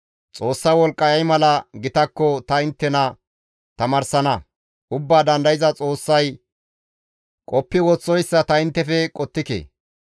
«Xoossa wolqqay ay mala gitakko ta inttena tamaarsana; Ubbaa Dandayza Xoossay qoppi woththoyssa ta inttefe qottike.